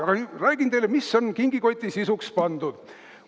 Aa, räägin nüüd teile, mis on kingikoti sisuks pandud.